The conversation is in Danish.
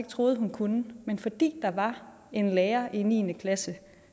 troede at hun kunne men fordi der var en lærer niende klasse